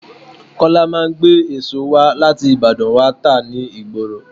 Kọ́lá máa ń gbé èso wá láti Ìbàdàn wá tá ni ìgboro.